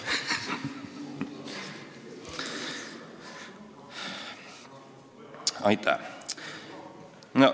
Aitäh!